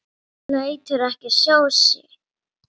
Lætur ekki sjá sig.